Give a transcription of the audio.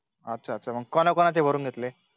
अच्छा अच्छा मग कोना कोणाचे भरून घेतले